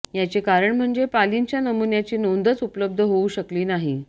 याचे कारण म्हणजे पालींच्या नमुन्यांची नोंदच उपलब्ध होऊ शकली नाही